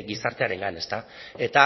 gizartearengan eta